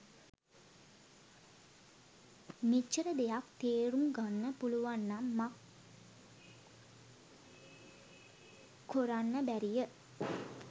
මෙච්චර දෙයක් තේරුම් ගන්න පුළුවන්නම් මක් කොරන්න බැරිය.